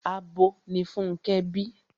Abo ni Fúnkẹ́ bí.